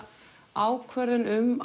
ákvörðun um